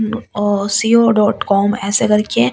co dot com ऐसे करके--